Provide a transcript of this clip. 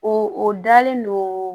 O o dalen no